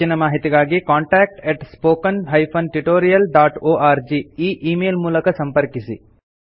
ಹೆಚ್ಚಿನ ಮಾಹಿತಿಗಾಗಿ contact spoken tutorialorg ಈ ಈ ಮೇಲ್ ಮೂಲಕ ಸಂಪರ್ಕಿಸಿ